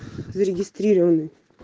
зарегистрированы